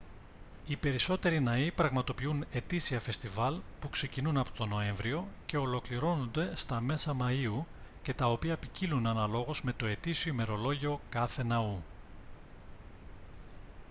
οι περισσότεροι ναοί πραγματοποιούν ετήσια φεστιβάλ που ξεκινούν από τον νοέμβριο και ολοκληρώνονται στα μέσα μαΐου και τα οποία ποικίλλουν αναλόγως με το ετήσιο ημερολόγιο κάθε ναού